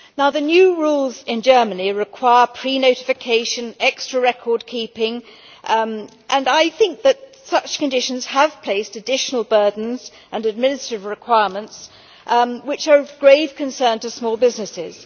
The new rules in Germany require prenotification and extra record keeping, and I think such conditions have brought in additional burdens and administrative requirements which are of grave concern to small businesses.